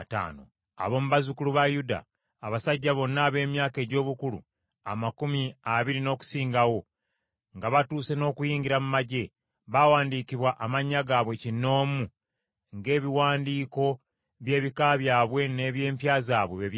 Ab’omu bazzukulu ba Yuda: Abasajja bonna ab’emyaka egy’obukulu amakumi abiri n’okusingawo, nga batuuse n’okuyingira mu magye, baawandiikibwa amannya gaabwe kinnoomu, ng’ebiwandiiko by’ebika byabwe n’eby’empya zaabwe bwe byali.